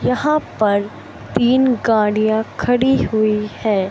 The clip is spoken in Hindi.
यहां पर तीन गाड़ियां खड़ी हुई हैं।